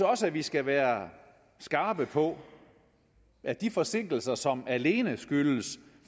også at vi skal være skarpe på at de forsinkelser som alene skyldes